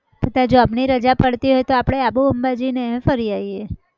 તું તારી job ની રજા પાડતી હોય તો આબુ અંબાજીને એમ ફરી આવીએ.